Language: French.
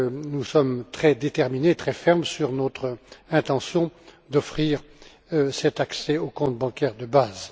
Nous sommes très déterminés et très fermes sur notre intention d'offrir cet accès au compte bancaire de base.